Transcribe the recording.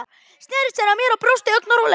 Sneri sér að mér og brosti, ögn rólegri.